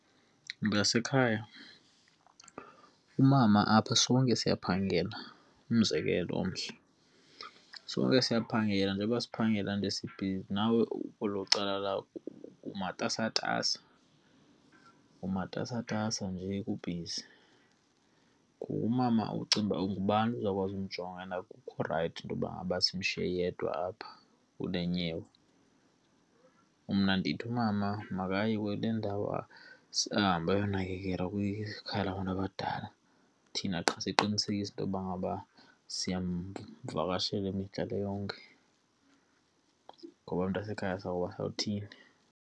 Mntasekhaya, umama apha sonke siyaphangela umzekelo omhle. Sonke siyaphangela njengoba siphangela nje sibhizi nawe kwelo cala lakho umatasatasa, umatasatasa nje kubhizi. Ngoku umama ucinga uba ngubani ozawukwazi ukumjonga? And akukho rayithi intoba ngaba simshiye yedwa apha kule nyewe. Mna ndithi umama makaye kule ndawo ahambe eyonakekelwa kwikhaya labantu abadala, thina qha siqinisekise into yokuba ngaba siyamvakashela imihla le yonke. Ngoba mntasekhaya sowuba, sawuthini?